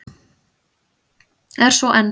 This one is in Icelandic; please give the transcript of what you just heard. Er svo enn.